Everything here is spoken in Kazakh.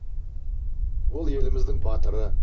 ол еліміздің батыры